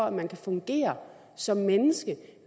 at man kan fungere som menneske